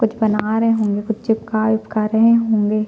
कुछ बना रहै होंगे कुछ चिपका उपका रहै होंगे।